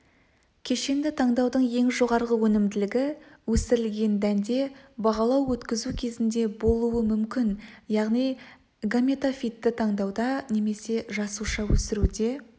кешенді таңдаудың ең жоғарғы өнімділігі өсірілген дәнде бағалау өткізу кезінде болуы мүмкін яғни гаметофитті таңдауда немесе жасуша өсіруде